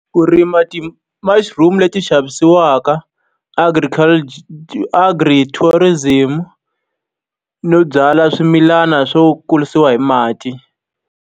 Ku rima ti-mushroom leti xavisiwaka, Agri tourism, no byala swimilana swo kurisiwa hi mati.